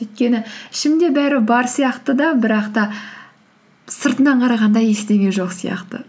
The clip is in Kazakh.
өйткені ішімде бәрі бар сияқты да бірақ та сыртынан қарағанда ештеңе жоқ сияқты